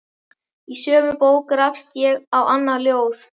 Í sömu bók rakst ég á annað ljóð